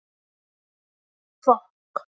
Svarið er: þetta eru lög!